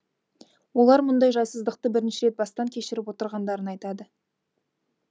олар мұндай жайсыздықты бірінші рет бастан кешіріп отырғандарын айтады